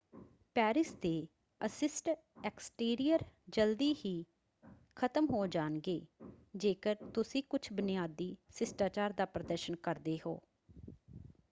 Paris ਦੇ ਅਸ਼ਿਸ਼ਟ exterior ਜਲਦੀ ਹੀ ਖਤਮ ਹੋ ਜਾਣਗੇ ਜੇਕਰ ਤੁਸੀਂ ਕੁੱਝ ਬੁਨਿਆਦੀ ਸ਼ਿਸ਼ਟਾਚਾਰ ਦਾ ਪ੍ਰਦਰਸ਼ਨ ਕਰਦੇ ਹੋ।